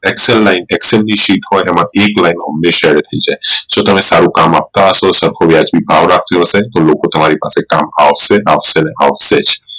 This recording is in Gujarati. Excel lineexcel ની sheet હોઈ એમાં line હંમેશા જો તમે સારું કામ આપતા હશો સરખું વ્યાજબી ભાવ રાખ્યો હશે તો લોકો તમારી પાસે આવશે આવશે ને આવશે જ